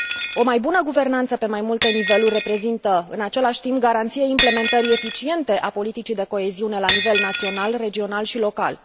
O mai bună guvernanță pe mai multe niveluri reprezintă, în același timp, garanția implementării eficiente a politicii de coeziune la nivel național, regional și local.